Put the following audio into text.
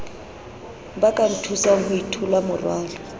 ba ka nthusang ho itholamorwalo